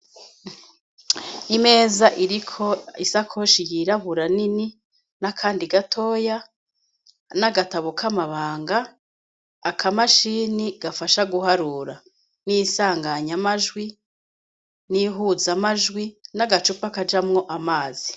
Imeza iriko isakoshi yirabura nini n'akandi gatoya n'agatabo k'amabanga akamashini gafasha guharura n'isanganyamajwi n'ihuzamajwi n'agacupa kajamwo amazi.